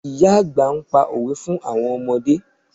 Ìyá àgbà ń pa òwe fún àwọn ọmọdé